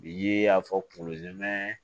Bi y'a fɔ